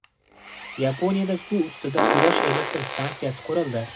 Yaponiyada suv ustida quyosh elektr stansiyasi qurildi .